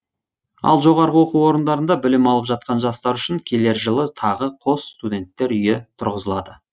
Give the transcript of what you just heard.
ал жоғары оқу орындарында білім алып жатқан жастар үшін келер жылы тағы қос студенттер үйі тұрғызылады